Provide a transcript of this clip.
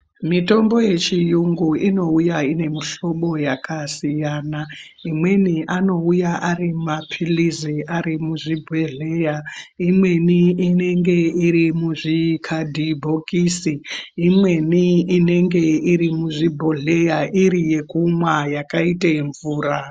Mitombo yechiyungu inouya ine muhlobo yakasiyana. Imweni anouya ari maphilizi ari muzvibhedhleya, imweni inenge iri muzvikadhibhokisi, imweni inenge iri muzvibhodhleya iri yekumwa yakaita mvura.